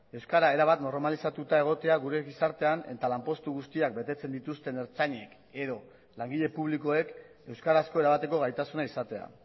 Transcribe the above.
euskara erabat normalizatuta egotea gure gizartean eta lanpostu guztiak betetzen dituzten ertzainek edo langile publikoek euskarazko erabateko gaitasuna izatea